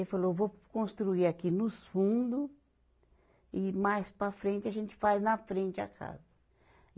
Ele falou, vou construir aqui nos fundo e mais para a frente, a gente faz na frente a casa.